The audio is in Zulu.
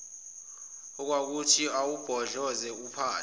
okwakuthi awubhodloze uphahla